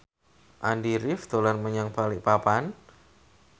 Andy rif dolan menyang Balikpapan